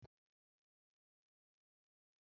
Rara Emi yoo duro pada si ọfiisi